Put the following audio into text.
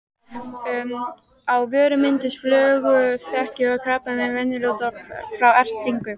Á vörum myndast flöguþekjukrabbamein venjulega út frá ertingu.